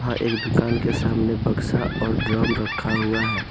और एक दुकान के सामने बक्सा और ड्रम रखा हुआ है।